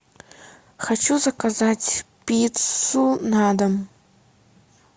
хочу заказать пиццу на дом